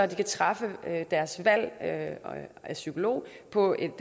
kan træffe deres valg af af psykolog på et